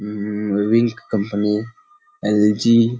उ उ बेबीन कंपनी एल.जी. --